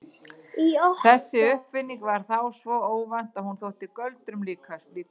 Þessi uppfinning var þá svo óvænt að hún þótti göldrum líkust.